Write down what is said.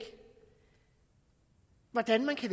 hvordan man kan